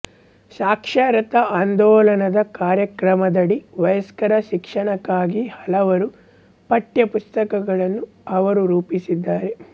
ಸಾಕ್ಷರತಾ ಆಂದೋಲನದ ಕಾರ್ಯಕ್ರಮದಡಿ ವಯಸ್ಕರ ಶಿಕ್ಷಣಕ್ಕಾಗಿ ಹಲವಾರು ಪಠ್ಯ ಪುಸ್ತಕಗಳನ್ನು ಅವರು ರೂಪಿಸಿದ್ದಾರೆ